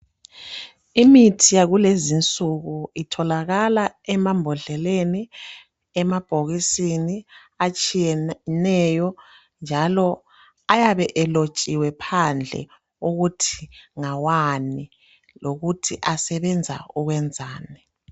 Imithi yakulezi insuku itholakala emambodleleni emabhokisini atshiyeneyo njalo ayabe elotshiwe phandle ukuthi ngawani lokuthi asebenza ukwenzani.